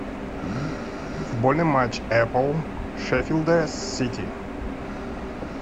футбольный матч апл шеффилда с сити